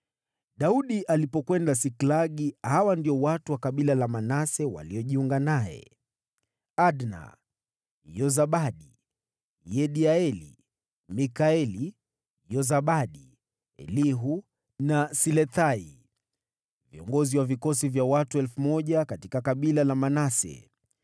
Daudi alipokwenda Siklagi, hawa ndio watu wa kabila la Manase waliojiunga naye: Adna, Yozabadi, Yediaeli, Mikaeli, Yozabadi, Elihu na Silethai, viongozi wa vikosi vya watu 1,000 katika kabila la Manase.